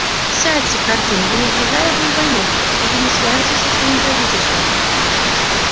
сядьте хардин я не объявляю вам войну и вы не свяжетесь со своим правительством